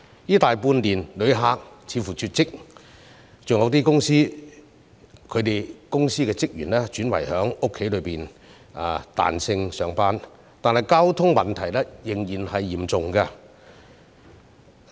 這大半年來旅客似乎絕跡，有些公司的職員亦轉為在家工作或彈性上班，但交通擠塞問題仍然嚴重。